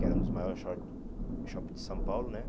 Que era um dos maiores shoppings de São Paulo, né?